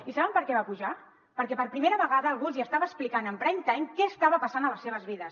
i saben per què van pujar perquè per primera vegada algú els hi estava explicant en prime time què estava passant a les seves vides